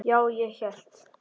Já, ég hélt.